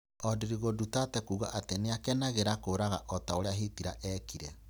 odrigo Duterte kuuga ati nĩakenagiĩra kũraga o ta ũrĩa Hitler eekire